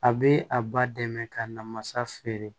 A bɛ a ba dɛmɛ ka na masa feere